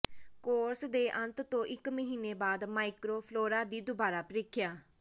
course ਦੇ ਅੰਤ ਤੋਂ ਇੱਕ ਮਹੀਨੇ ਬਾਅਦ ਮਾਈਕ੍ਰੋਫਲੋਰਾ ਦੀ ਦੁਬਾਰਾ ਪ੍ਰੀਖਿਆ